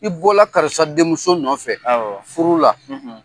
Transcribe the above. I bɔla karisa denmuso nɔfɛ, awɔ, furu la.